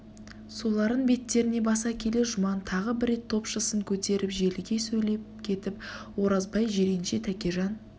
соларын беттеріне баса келе жұман тағы бір рет топшысын көтеріп желіге сөйлеп кетіп оразбай жиренше тәкежан